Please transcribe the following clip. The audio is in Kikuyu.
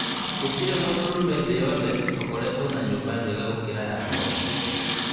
Gũtĩrĩ mũndũrũme thĩ yothe ũkoretwo na nyũmba njega makĩria ya yakwa